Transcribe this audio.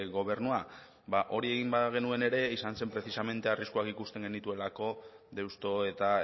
gobernua ba hori egin bagenuen ere izan zen precisamente arriskuak ikusten genituelako deusto eta